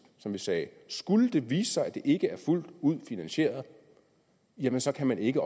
så vi sagde skulle det vise sig at det ikke er fuldt ud finansieret jamen så kan man ikke